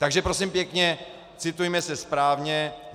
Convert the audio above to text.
Takže prosím pěkně, citujme se správně.